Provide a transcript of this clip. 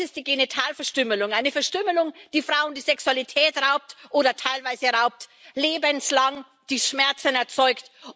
Jetzt ist es die Genitalverstümmelung eine Verstümmelung, die Frauen die Sexualität raubt oder teilweise raubt, lebenslang, die Schmerzen erzeugt.